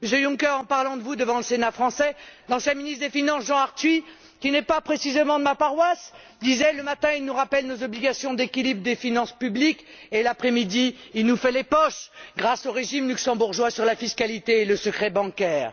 Monsieur Juncker, en parlant de vous devant le Sénat français, l'ancien ministre des finances, Jean Arthuis qui n'est pas précisément de ma paroisse disait Le matin, il nous rappelle nos obligations d'équilibre des finances publiques et, l'après midi, il nous fait les poches grâce au régime luxembourgeois sur la fiscalité et le secret bancaire.